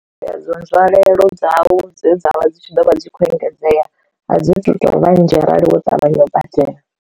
Dzedzo nzwalelo dzau dze dza vha dzi tshi ḓo vha dzi khou engedzea a dzo vhanzhi arali wo ṱavhanya u badela.